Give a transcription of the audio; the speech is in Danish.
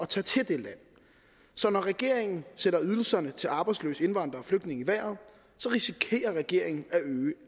tage til det land så når regeringen sætter ydelserne til arbejdsløse indvandrere og flygtninge i vejret risikerer regeringen at øge